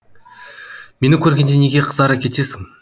мені көргенде неге қызара кетесің